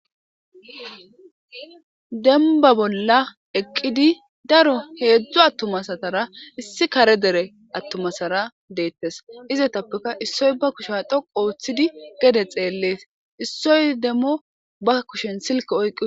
Demba bolla eqqidi daro heedzdzu attumasatara issi kare dere attumasara deettes izetappeka issoy ba kusha dhoqu ooththidi gede xeellees issoy demmo ba kushen silke oyqqis.